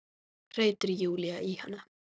hreytir Júlía í hana.